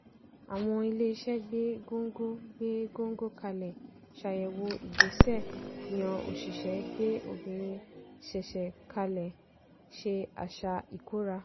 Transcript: àwọn iléeṣẹ́ gbé góńgó gbé góńgó kalẹ̀ ṣàyèwò ìgbésẹ̀ yan òṣìṣẹ́ gbé obìnrin ṣeṣe kalẹ̀ ṣe àṣà ikóra.